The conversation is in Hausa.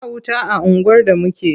Ba wuta a unguwar da muke.